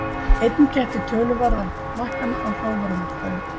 Einnig gætti töluverða lækkana á hrávörumarkaði